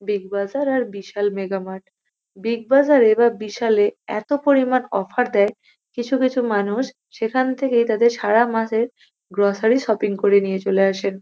Big Bazaar আর Vishal mega mart. Big Bazaar -এ আর বিশাল -এ এত পরিমাণ অফার দেয় কিছু কিছু মানুষ সেখান থেকেই তাদের সারা মাসের গ্রোসারী শপিং করে নিয়ে চলে আসেন।